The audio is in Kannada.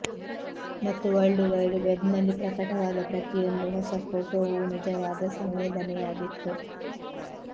ಮತ್ತು ವರ್ಲ್ಡ್ ವೈಡ್ ವೆಬ್ನಲ್ಲಿ ಪ್ರಕಟವಾದ ಪ್ರತಿಯೊಂದು ಹೊಸ ಫೋಟೋವೂ ನಿಜವಾದ ಸಂವೇದನೆಯಾಗಿತ್ತು